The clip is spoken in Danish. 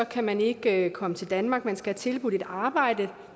kan man ikke komme til danmark man skal have tilbudt et arbejde